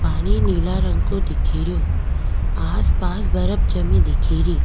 पानी नीला रंग को दिखेरो आसपास बर्फ जमी दिखेरी।